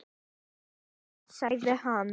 Líttu út sagði hann.